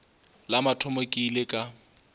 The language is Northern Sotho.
la mathomo ke ile ka